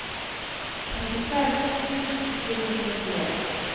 trettifem tusen fire hundre og tjueen